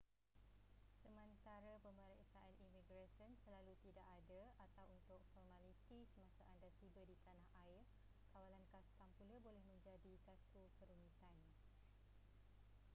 sementara pemeriksaan imigresen selalu tidak ada atau untuk formaliti semasa anda tiba di tana air kawalan kastam pula boleh menjadi satu kerumitan